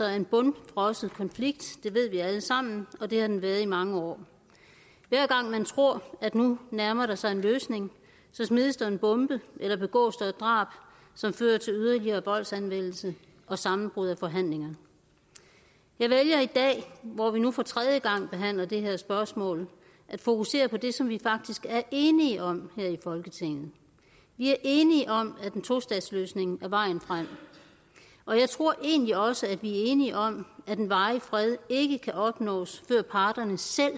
er en bundfrossen konflikt det ved vi alle sammen og det har den været i mange år hver gang man tror at nu nærmer der sig en løsning så smides der en bombe eller begås der et drab som fører til yderligere voldsanvendelse og sammenbrud af forhandlinger jeg vælger i dag hvor vi nu for tredje gang behandler det her spørgsmål at fokusere på det som vi faktisk er enige om her i folketinget vi er enige om at en tostatsløsning er vejen frem og jeg tror egentlig også at vi er enige om at en varig fred ikke kan opnås før parterne selv